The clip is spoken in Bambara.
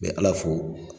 N bɛ ala fo